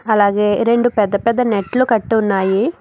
అలాగే రెండు పెద్ద పెద్ద నెట్లు కట్టున్నాయి.